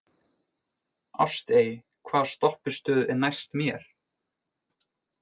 Ástey, hvaða stoppistöð er næst mér?